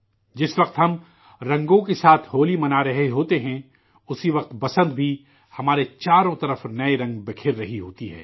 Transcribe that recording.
جس وقت ہم رنگوں کے ساتھ ہولی منارہے ہوتے ہیں، اسی وقت ، بسنت بھی، ہمارے چاروں جانب نئے رنگ بکھیر رہا ہوتا ہے